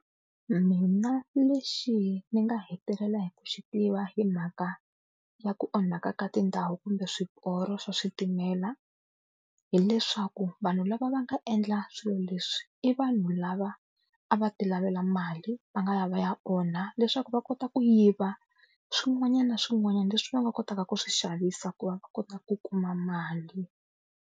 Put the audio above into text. Mina lexi ni nga hetelela hi ku xi tiva hi mhaka ya ku onhaka ka tindhawu kumbe swiporo swa switimela, hileswaku vanhu lava va nga endla swilo leswi i vanhu lava a va tilavela mali va nga ya va ya onha, leswaku va kota ku yiva swin'wanyana na swin'wanyana leswi va nga kotaka ku swi xavisa ku va va kota ku kuma mali.